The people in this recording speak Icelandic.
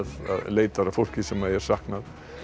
leitar að fólki sem er saknað